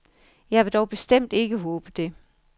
Jeg vil dog bestemt ikke håbe det.